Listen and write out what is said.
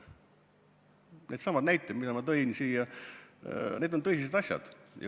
Needsamad näited, mida ma tõin, on tõsised asjad.